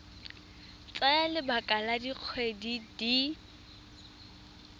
tsaya lebaka la dikgwedi di